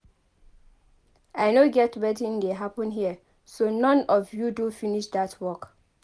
I no get wetin dey happen here. So none of you do finish dat work?